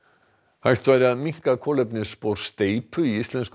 hægt væri að minnka kolefnisspor steypu í íslenskum